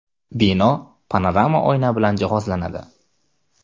Bino panorama oyna bilan jihozlanadi.